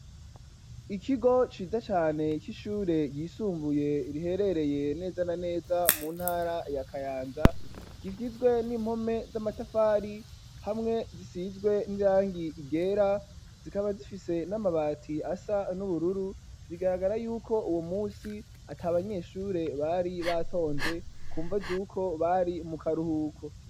Ikigo ciza cane c'ishure ryisumbuye riherereye neza na neza mu ntara ya kayanza, kigizwe n'impome z'amatafari hamwe zisizwe n'irangi ryera zikaba zifise n'amabati asa n'ubururu bigaragara yuko uwo munsi ata banyeshure bari batonze ku mvo z'uko bari mu karuhuko.